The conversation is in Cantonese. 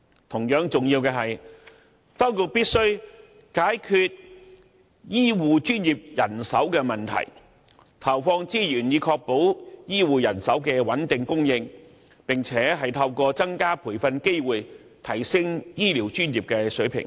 同樣重要的是，當局必須解決醫護專業人手問題，投放資源以確保醫護人手的穩定供應，並透過增加培訓機會，提升醫療專業的水平。